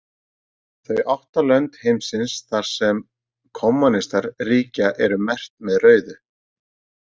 Þau átta lönd heimsins þar sem kommúnistar ríkja eru merkt með rauðu.